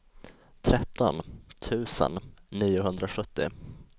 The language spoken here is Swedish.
tretton tusen niohundrasjuttio